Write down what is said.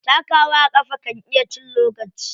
Takawa a ƙafa kan iya cin lokaci.